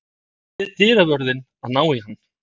Ég bið dyravörðinn að ná í hann.